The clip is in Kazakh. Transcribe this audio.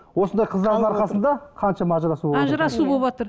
осындай қыздардың арқасында қаншама ажырасу ажырасу болыватыр